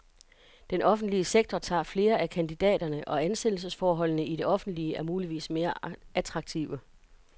Den offentlige sektor tager flere af kandidaterne, og ansættelsesforholdene i det offentlige er muligvis mere attraktive.